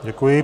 Děkuji.